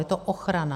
Je to ochrana.